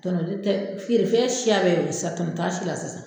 Tɔnɔ de tɛ fiyerefɛn siya bɛɛ y'o ye sisan tɔnɔ t'a si la sisan.